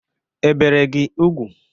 E bere gị ugwu?